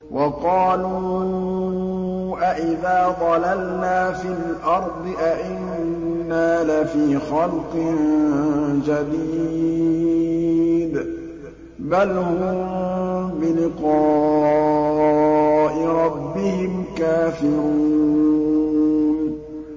وَقَالُوا أَإِذَا ضَلَلْنَا فِي الْأَرْضِ أَإِنَّا لَفِي خَلْقٍ جَدِيدٍ ۚ بَلْ هُم بِلِقَاءِ رَبِّهِمْ كَافِرُونَ